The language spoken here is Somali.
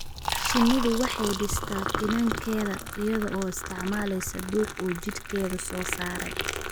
Shinnidu waxay dhistaa finankeeda iyada oo isticmaalaysa dhux uu jidhkeedu soo saaray.